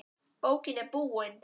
Bókin er búin.